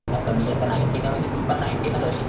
आता मी आता नाईंटीन म्हणजे तू नाईंटीनच असशील,